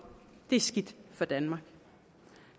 det er skidt for danmark